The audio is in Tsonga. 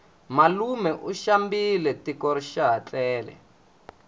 malume u xambile tiko xaha tlele